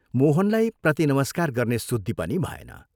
मोहनलाई प्रतिनमस्कार गर्ने सुद्धि पनि भएन।